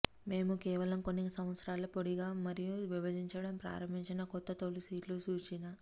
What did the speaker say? మేము కేవలం కొన్ని సంవత్సరాలలో పొడిగా మరియు విభజించటం ప్రారంభించిన కొత్త తోలు సీట్లు చూసిన